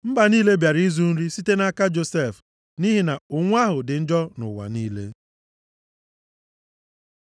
Mba niile bịara Ijipt ịzụ nri site nʼaka Josef nʼihi na ụnwụ ahụ dị njọ nʼụwa niile.